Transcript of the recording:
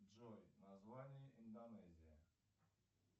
джой название индонезии